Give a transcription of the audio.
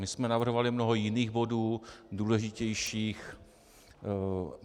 My jsme navrhovali mnoho jiných bodů, důležitějších.